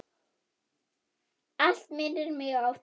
Allt minnir mig á þig.